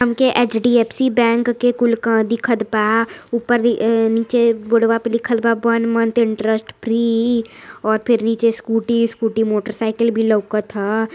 हमके HDFC. Bank के कुल का दिखत बा ऊपर नीचे बोड़वा पे लिखल बा वन मंथ इंट्रस्ट फ्री और फिर नीचे स्कूटी वॉस्कूटि मोटरसाइकिल भी लउकत ह।